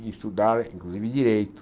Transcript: em estudar, inclusive, direito.